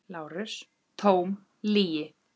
LÁRUS: Tóm lygi!